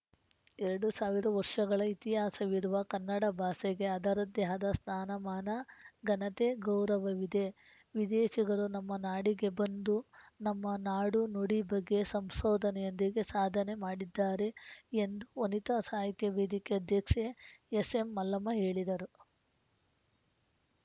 ಎರಡು ಸಾವಿರ ವರ್ಷಗಳ ಇತಿಹಾಸವಿರುವ ಕನ್ನಡ ಭಾಸೆಗೆ ಅದರಂತೆ ಆದ ಸ್ಥಾನಮಾನ ಘನತೆ ಗೌರವವಿದೆ ವಿದೇಸಿಗರು ನಮ್ಮ ನಾಡಿಗೆ ಬಂದು ನಮ್ಮ ನಾಡುನುಡಿ ಬಗ್ಗೆ ಸಂಸೋದನೆಯೊಂದಿಗೆ ಸಾಧನೆ ಮಾಡಿದ್ದಾರೆ ಎಂದು ವನಿತಾ ಸಾಹಿತ್ಯ ವೇದಿಕೆ ಅಧ್ಯೆಕ್ಸೆ ಎಸ್‌ಎಂಮಲ್ಲಮ್ಮ ಹೇಳಿದರು